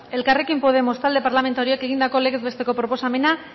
elkarrekin podemos talde parlamentarioak egindako legez besteko proposamena